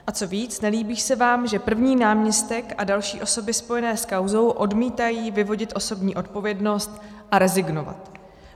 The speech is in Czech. A co víc, nelíbí se vám, že první náměstek a další osoby spojené s kauzou odmítají vyvodit osobní odpovědnost a rezignovat.